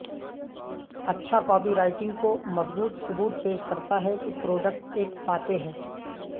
اچھا copywriting کو مضبوط ثبوت پیش کرتا ہے کہ پروڈکٹ ایک فاتح ہے